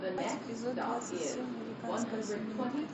эпизод двадцать семь американская семейка